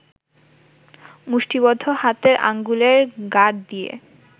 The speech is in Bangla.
মুষ্টিবদ্ধ হাতের আঙ্গুলের গাঁট দিয়ে